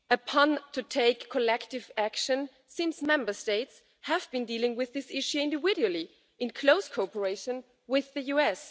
on to take collective action, since Member States have been dealing with this issue individually in close cooperation with the US.